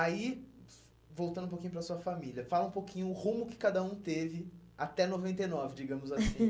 Aí, voltando um pouquinho para a sua família, fala um pouquinho o rumo que cada um teve até noventa e nove, digamos assim.